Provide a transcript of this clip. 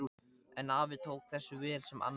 En afi tók þessu vel sem Anna sagði.